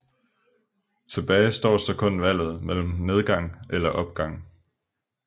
Tilbage står så kun valget mellem nedgang eller opgang